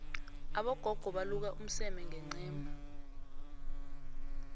abogogo baluka umseme ngencema